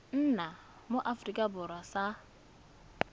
nna mo aforika borwa sa